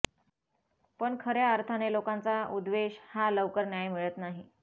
पण खऱ्या अर्थाने लोकांचा उद्वेष हा लवकर न्याय मिळत नाही